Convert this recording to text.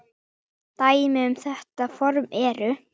Dæmi um þetta form eru